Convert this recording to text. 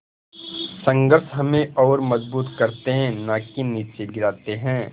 संघर्ष हमें और मजबूत करते हैं नाकि निचे गिराते हैं